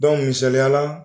misaliya la